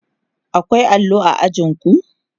Akwai allo a ajin ku?